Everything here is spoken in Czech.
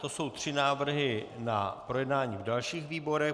To jsou tři návrhy na projednání v dalších výborech.